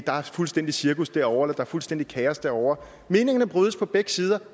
der er fuldstændig cirkus derovre der er fuldstændig kaos derovre meningerne brydes på begge sider